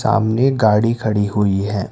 सामने गाड़ी खड़ी हुई है।